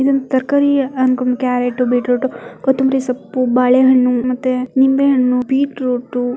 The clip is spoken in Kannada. ಇದು ತರಕಾರಿ ಅಂಗಡಿ ಕ್ಯಾರಟ್ ಬೀಟ್ರೂಟ್ ಕುತ್ತಂಬರಿ ಸಪ್ಪು ಬಾಳೆ ಹಣ್ಣು ಮತ್ತೆ ನಿಂಬೆ ಹಣ್ಣು ಬೀಟ್ ರೂಟ --